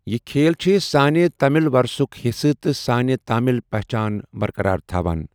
یہِ کھیل چھِ سانہِ تامِل ورثُک حصہٕ تہٕ سٲنہِ تامِل پہچان بَرقرار تھاوان۔